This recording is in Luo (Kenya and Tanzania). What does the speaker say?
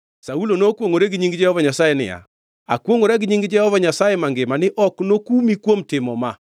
Saulo nokwongʼore gi nying Jehova Nyasaye niya, “Akwongʼora gi nying Jehova Nyasaye mangima ni ok nokumi kuom timo ma.”